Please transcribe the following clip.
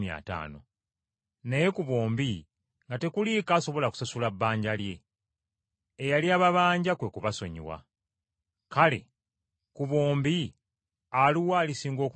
Naye ku bombi nga tekuliiko asobola kusasula bbanja lye. Eyali ababanja kwe kubasonyiwa. Kale, ku bombi aluwa alisinga okumwagala?”